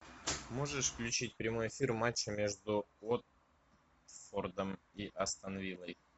можешь включить прямой эфир матча между уотфордом и астон виллой